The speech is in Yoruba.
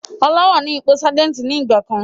Ọlá wá ní ipò Sajẹ́ntí ni ìgbàkan.